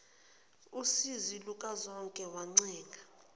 usizi lukazonke wancenga